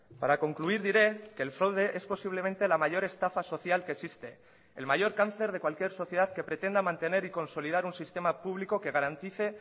para concluir diré que el fraude es posiblemente la mayor estafa social que existe el mayor cáncer de cualquier sociedad que pretenda mantener y consolidar un sistema público que garantice